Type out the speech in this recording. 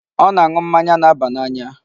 Ọ na-aṅụ mmanya na-aba n'anya.